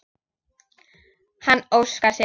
Hann óskar sér.